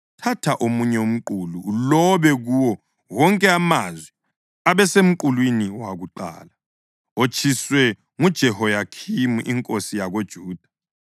“Thatha omunye umqulu ulobe kuwo wonke amazwi abesemqulwini wakuqala, otshiswe nguJehoyakhimi inkosi yakoJuda.